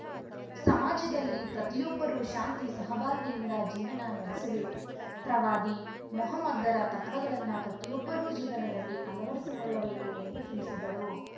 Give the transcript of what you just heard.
ಸಮಾಜದಲ್ಲಿ ಪ್ರತಿಯೊಬ್ಬರೂ ಶಾಂತಿ ಸಹಬಾಳ್ವೆಯಿಂದ ಜೀವನ ನಡೆಸಬೇಕು ಪ್ರವಾದಿ ಮೊಹಮ್ಮದರ ತತ್ವಗಳನ್ನ ಪ್ರತಿಯೊಬ್ಬರೂ ಜೀವನದಲ್ಲಿ ಅಳವಡಿಸಿಕೊಳ್ಳಬೇಕು ಎಂದು ತಿಳಿಸಿದರು